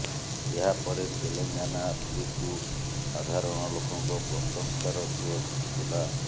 ଏହାପରେ ତେଲେଙ୍ଗାନା ପୋଲିସକୁ ସାଧାରଣ ଲୋକଙ୍କ ପ୍ରଶଂସାର ସୁଅ ଛୁଟିଥିଲା